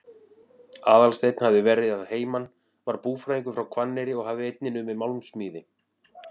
Aðalsteinn hafði verið að heiman, var búfræðingur frá Hvanneyri og hafði einnig numið málmsmíði.